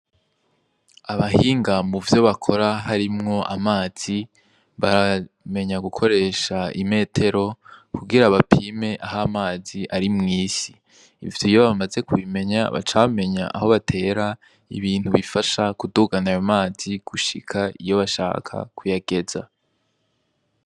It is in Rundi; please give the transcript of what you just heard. Abahinga muvyo bakora harimwo amazi baramenya gukoresha imetero kugira bapime aho mazi ari mw'isi ivyo iyo bamaze ku bimenya baca bamenya aho batera ibintu bifasha ku dugana ayo mazi gushika iyo bashaka ku yageza.